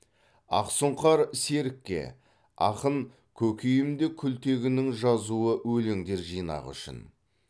ақсұңқар серікке ақын көкейімде күлтегіннің жазуы өлеңдер жинағы үшін